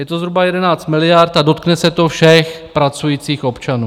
Je to zhruba 11 miliard a dotkne se to všech pracujících občanů.